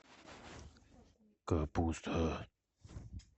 капуста